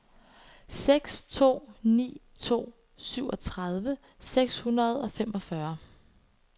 seks to ni to syvogtredive seks hundrede og femogfyrre